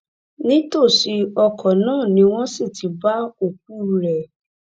nítòsí ọkọ náà ni wọn sì ti bá òkú rẹ